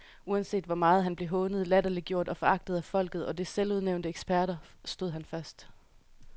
Uanset hvor meget han blev hånet, latterliggjort og foragtet af folket og dets selvudnævnte eksperter, stod han fast.